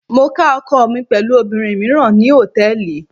Mo ká ọkọ mi pẹ̀lú obìnrin míràn ní Hòtẹ́lìì.